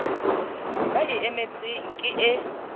ba e emetseng ke e